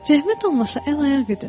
Zəhmət olmasa əl-ayaq edin.